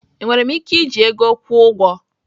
Enwere m ike iji ego kwụọ ụgwọ?